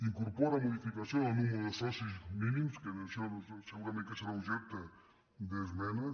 incorpora modificació del nombre de socis mínims que això segurament que serà objecte d’esmenes